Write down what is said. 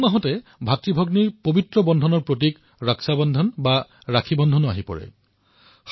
এই সময়চোৱাত ভাইভনীৰ প্ৰেমৰ প্ৰতীক ৰাশি বন্ধনৰো উদযাপন কৰা হয়